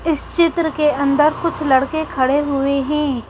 इस चित्र के अंदर कुछ लड़के खड़े हुए हैं।